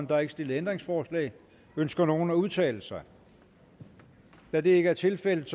der er ikke stillet ændringsforslag ønsker nogen at udtale sig da det ikke er tilfældet